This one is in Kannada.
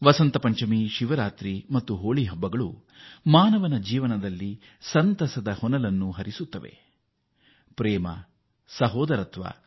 ವಸಂತ ಪಂಚಮಿ ಮಹಾ ಶಿವರಾತ್ರಿ ಮತ್ತು ಹೋಳಿ ಹಬ್ಬಗಳು ಅತೀವ ಸಂತಸವನ್ನು ಜನರ ಬದುಕಿನಲ್ಲಿ ತರುತ್ತವೆ